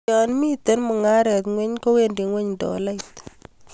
yo mito mungaret ingweny kowendi ngweny dolait